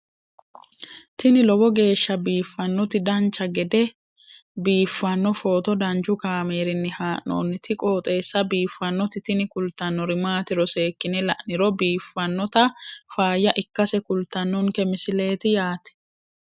tini lowo geeshsha biiffannoti dancha gede biiffanno footo danchu kaameerinni haa'noonniti qooxeessa biiffannoti tini kultannori maatiro seekkine la'niro biiffannota faayya ikkase kultannoke misileeti yaate